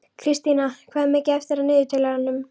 Kristína, hvað er mikið eftir af niðurteljaranum?